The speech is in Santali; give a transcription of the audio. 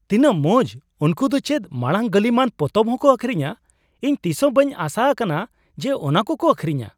ᱛᱤᱱᱟᱜ ᱢᱚᱸᱡ ! ᱩᱱᱠᱩ ᱫᱚ ᱪᱮᱫ ᱢᱟᱲᱟᱝ ᱜᱟᱹᱞᱤᱢᱟᱜ ᱯᱚᱛᱚᱵ ᱦᱚᱠᱚ ᱟᱹᱠᱷᱨᱤᱧᱟ ᱾ ᱤᱧ ᱛᱤᱥᱦᱚ ᱵᱟᱹᱧ ᱟᱥᱟ ᱟᱠᱟᱱᱟ ᱡᱮ ᱚᱱᱟ ᱠᱚ ᱠᱚ ᱟᱹᱠᱷᱨᱤᱧᱟ ᱾